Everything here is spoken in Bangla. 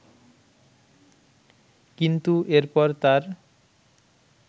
কিন্তু এরপর তার